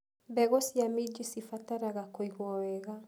Mbegũ cia minji cirabatara kũigũo wega.